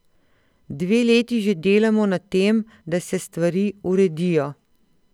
Dve leti že delamo na tem, da se stvari uredijo.